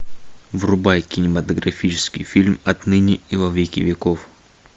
врубай кинематографический фильм отныне и во веки веков